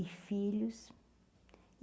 e filhos.